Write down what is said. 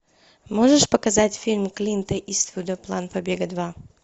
можешь показать фильм клинта иствуда план побега два